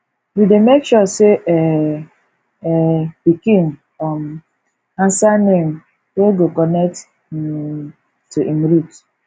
we dey make sure sey um um pikin um answer name wey go connect um to im root